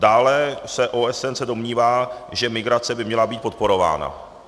Dále OSN se domnívá, že migrace by měla být podporována.